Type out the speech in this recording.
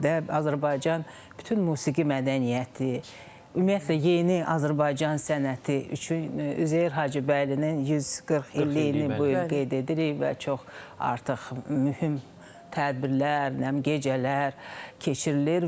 Azərbaycan bütün musiqi mədəniyyəti, ümumiyyətlə yeni Azərbaycan sənəti üçün Üzeyir Hacıbəylinin 140 illiyini bu il qeyd edirik və çox artıq mühüm tədbirlər, nə bilim, gecələr keçirilir.